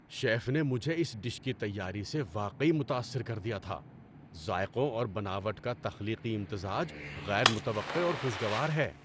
Chef نے مجھے اس ڈش کی تیاری سے واقعی متاثر کر دیا تھا؛ ذائقوں اور بناوٹ کا تخلیقی امتزاج غیر متوقع اور خوش گوار ہے۔